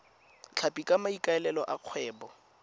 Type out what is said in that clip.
tlhapi ka maikaelelo a kgwebo